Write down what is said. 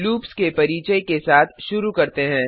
loops के परिचय के साथ शुरू करते हैं